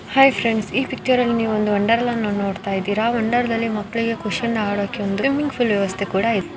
Hi friends ಈ ಈ picture ಅಲ್ಲಿ ನೀವೊಂದು ವಂಡರ್ಲಾ ನೋಡ್ತಾ ಇದ್ದೀರಾ ವಂಡರ್ದಲ್ಲಿ ಮಕ್ಕಳಿಗೆ ಆಡಕ್ಕೆ ಸ್ವಿಮ್ಮಿಂಗ್ ಪೂಲ್ ವ್ಯವಸ್ಥೆ ಕೂಡ ಇದೆ .